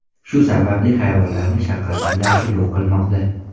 Shu sababli hayvonlarni shafqatsizlarcha yo‘q qilmoqda.